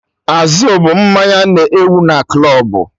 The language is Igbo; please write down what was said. Azul bụ mmanya na-ewu na klọbụ